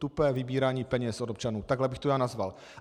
Tupé vybírání peněz od občanů, takhle bych to já nazval.